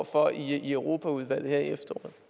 for i europaudvalget